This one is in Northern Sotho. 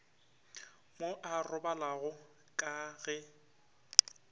mo a robalago ka ge